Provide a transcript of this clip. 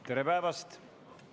Lauldakse Eesti Vabariigi hümni.